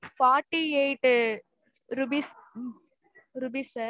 forty-eight rupees rupees sir